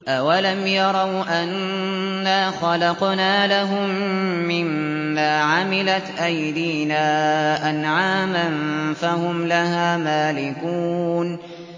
أَوَلَمْ يَرَوْا أَنَّا خَلَقْنَا لَهُم مِّمَّا عَمِلَتْ أَيْدِينَا أَنْعَامًا فَهُمْ لَهَا مَالِكُونَ